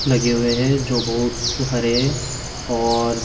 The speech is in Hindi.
लगे हुए हैं जो बहुत हरे और--